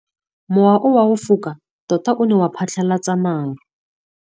Mowa o wa go foka tota o ne wa phatlalatsa maru.